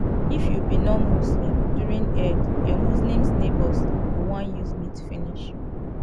if you be nonmuslim during eid your muslims neighbours go wan use meat finish you